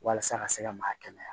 Walasa ka se ka maa kɛnɛya